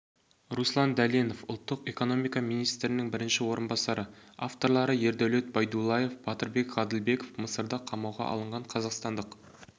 руслан дәленов ұлттық экономика министрінің бірінші орынбасары авторлары ердәулет байдуллаев батырбек ғаділбеков мысырда қамауға алынған қазақстандық